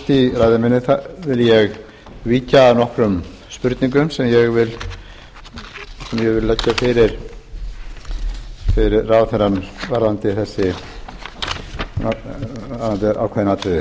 í ræðu minni vil ég víkja að nokkrum spurningum sem ég vil leggja fyrir ráðherrann varðandi ákveðin atriði